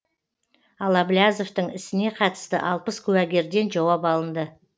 ал әблязовтың ісіне қатысты алпыс куәгерден жауап алынды